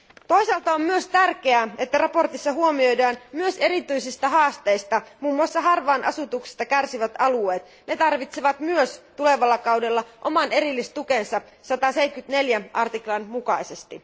Toisaalta on myös tärkeää, että mietinnössä huomioidaan myös erityisistä haasteista, muun muassa harvaan asutuksesta kärsivät alueet, ne tarvitsevat myös tulevalla kaudella oman erillistukensa 174 artiklan mukaisesti.